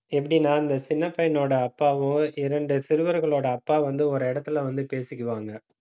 எப்படின்னா இந்த சின்னப் பையனோட அப்பாவும் இரண்டு சிறுவர்களோட அப்பா வந்து ஒரு இடத்துல வந்து பேசிக்குவாங்க